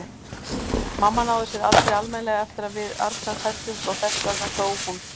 Mamma náði sér aldrei almennilega eftir að við Arnar fæddumst og þess vegna dó hún.